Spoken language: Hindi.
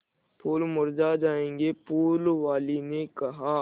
फूल मुरझा जायेंगे फूल वाली ने कहा